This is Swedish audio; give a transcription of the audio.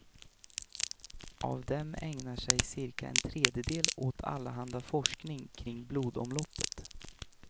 Av dem ägnar sig cirka en tredjedel åt allehanda forskning kring blodomloppet.